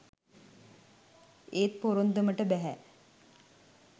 ඒත් පොරොන්දමට බැහැ